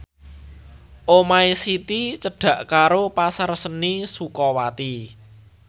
omahe Siti cedhak karo Pasar Seni Sukawati